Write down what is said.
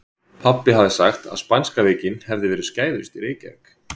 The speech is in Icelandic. Pabbi hafði sagt að spænska veikin hefði verið skæðust í Reykjavík.